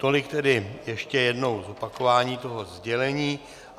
Tolik tedy ještě jednou z opakování toho sdělení.